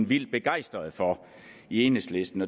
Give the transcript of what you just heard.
vildt begejstrede for i enhedslisten